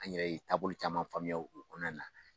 An yɛrɛ ye taabolo caman faamuya o kɔnɔna na.